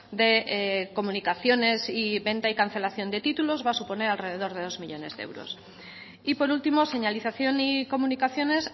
de comunicaciones y venta y cancelación de títulos va a suponer alrededor de dos millónes de euros y por último señalización y comunicaciones